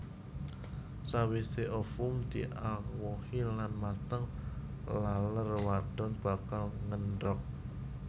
Sawisé ovum diawohi lan mateng laler wadon bakal ngendhog